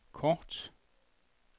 kort